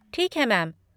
ठीक है मैम।